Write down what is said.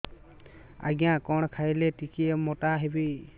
ଆଜ୍ଞା କଣ୍ ଖାଇଲେ ଟିକିଏ ମୋଟା ହେବି